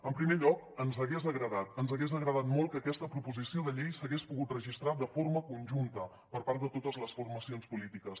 en primer lloc ens hagués agradat ens hagués agradat molt que aquesta proposició de llei s’hagués pogut registrat de forma conjunta per part de totes les formacions polítiques